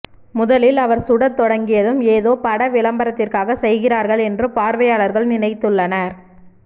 முதலில் அவர் சுடத் தொடங்கியதும் ஏதோ பட விளம்பரத்திற்காக செய்கிறார்கள் என்று பார்வையாளர்கள் நினைத்துள்ளனர்